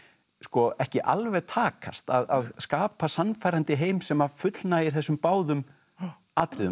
ekki alveg takast að skapa sannfærandi heim sem að fullnægir þessum báðum atriðum að vera